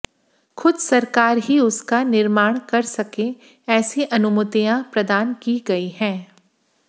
खुद सरकार ही उसका निर्माण कर सके ऐसी अनुमतियां प्रदान की गई हैं